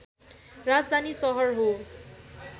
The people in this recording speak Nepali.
राजधानी सहर हो